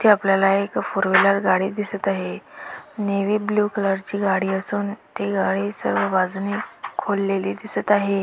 इथे आपल्याला एक फोर व्हीलर गाडी दिसत आहे नेव्ही ब्ल्यु कलरची गाडी असून ती गाडी सर्व बाजूनी खोललेली दिसत आहे.